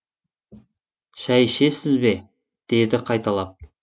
шай ішесіз бе деді қайталап